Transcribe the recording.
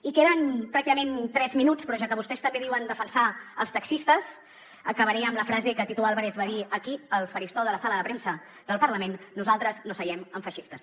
i queden pràcticament tres minuts però ja que vostès també diuen defensar els taxistes acabaré amb la frase que tito álvarez va dir aquí al faristol de la sala de premsa del parlament nosaltres no seiem amb feixistes